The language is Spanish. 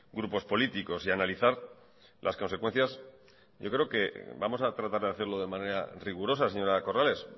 grupos políticos y analizar las consecuencias yo creo que vamos a tratar de hacerlo de manera rigurosa señora corrales